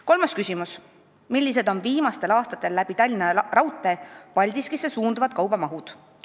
Kolmas küsimus: "Millised on viimastel aastatel läbi Tallinna raudteel Paldiskisse suunduvad kaubamahud?